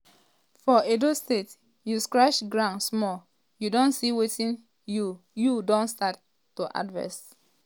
for edo state you scratch ground small you don see somtin you you don start to harvest.